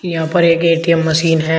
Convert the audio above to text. यहां पर एक ए_टी_म मशीन हैं।